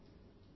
నమస్కారం